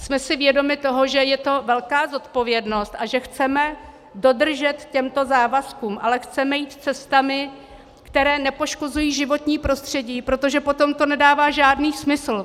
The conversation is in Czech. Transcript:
Jsme si vědomi toho, že je to velká zodpovědnost a že chceme dodržet tyto závazky, ale chceme jít cestami, které nepoškozují životní prostředí, protože potom to nedává žádný smysl.